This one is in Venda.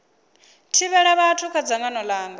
thivhela vhathu kha dzangano langa